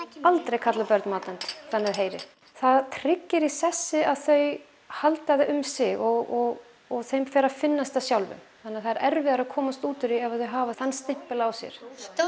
aldrei kalla börn matvönd þannig að þau heyri það tryggir í sessi að þau halda það um sig og og þeim fer að finnast þetta sjálfum þannig það er erfiðara að komast út úr því ef þau hafa þann stimpil á sér